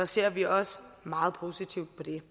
ser vi også meget positivt på det